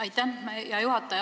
Aitäh, hea juhataja!